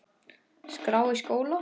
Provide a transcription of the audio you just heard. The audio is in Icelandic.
skrá í skóla?